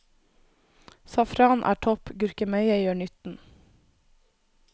Safran er topp, gurkemeie gjør nytten.